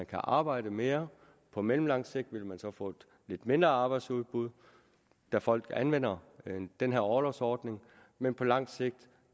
kan arbejde mere på mellemlangt sigt vil man så få et lidt mindre arbejdsudbud da folk anvender den her orlovsordning men på langt sigt